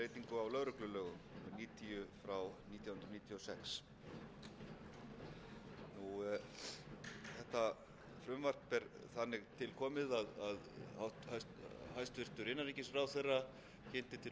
laga um breytingu á lögreglulögum númer níutíu nítján hundruð níutíu og sex þetta frumvarp er þannig til komið að hæstvirtur innanríkisráðherra kynnti til sögunnar hér á